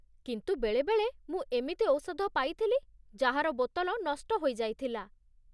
କିନ୍ତୁ ବେଳେବେଳେ ମୁଁ ଏମିତି ଔଷଧ ପାଇଥିଲି ଯାହାର ବୋତଲ ନଷ୍ଟ ହୋଇଯାଇଥିଲା।